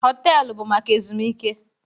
Họtelu bụ maka ezumike